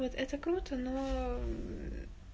вот это круто но мм